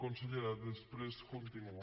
consellera després continuo